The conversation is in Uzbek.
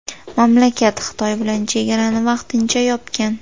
Mamlakat Xitoy bilan chegarani vaqtincha yopgan.